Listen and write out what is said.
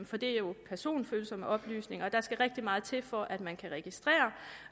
for det er jo personfølsomme oplysninger og der skal rigtig meget til for at man kan registrere